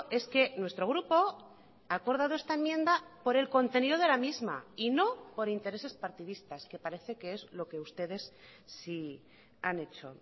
es que nuestro grupo ha acordado esta enmienda por el contenido de la misma y no por intereses partidistas que parece que es lo que ustedes sí han hecho